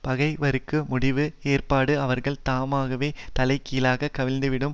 பகைவர்க்கு முடிவு ஏற்பட்டு அவர்கள் தாமாகவே தலைகீழாகக் கவிழ்ந்திடும்